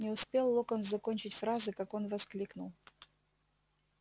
не успел локонс закончить фразы как он воскликнул